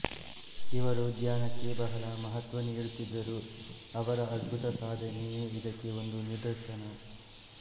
ಇವರು ಧ್ಯಾನಕ್ಕೆ ಬಹಳ ಮಹತ್ವ ನೀಡುತ್ತಿದ್ದರು ಅವರ ಅದ್ಭುತ ಸಾಧನೆಯೇ ಇದಕ್ಕೆ ಒಂದು ನಿದರ್ಶನ